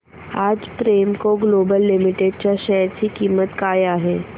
आज Premco global limited च्या share ची किंमत काय आहे